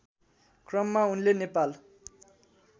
क्रममा उनले नेपाल